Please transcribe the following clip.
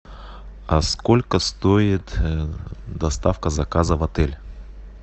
а сколько стоит доставка заказа в отель